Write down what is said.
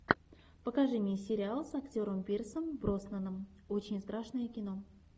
покажи мне сериал с актером пирсом броснаном очень страшное кино